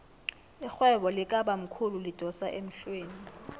irhwebo likabamkhulu lidosa emhlweni